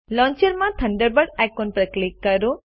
launcher માં Thunderbird icon પર click કરો